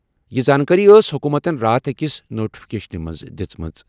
یہِ زانٛکٲری ٲس حکوٗمتَن راتھ أکِس نوٹیفکیشن منٛز دِژمٕژ۔